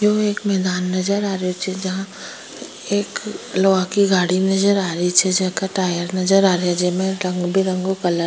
यो एक मैदान नजर आरी छे एक लोहा की गाड़ी नजर आरी छे जेका टायर नजर आरी छे जेमे रंग बिरंगा कलर --